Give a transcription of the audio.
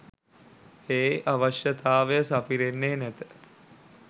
ඒ අවශ්‍යතාව සපිරෙන්නේ නැත.